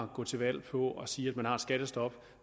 gå til valg på at sige at man har et skattestop